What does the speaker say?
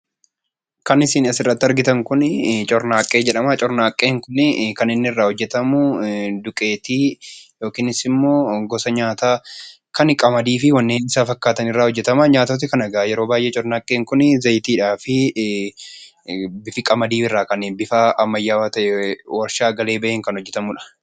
Kan isin asirratti argitan kuni cornaaqqee jedhama. Cornaaqqeen kunii kan inni irraa hojjatamu duqeetii yookinis ammoo gosa nyaataa kan qamadiifi wanneen isa fakkaatan irraa hojjatama. Nyaatoti kanakaa yeroo baayyee cornaaqqeen kuni zayitiidhaafi bifa qamadii irraa kan bifa ammayyaawwaa ta'ee, warshaa galee baheen kan hojjatamudha.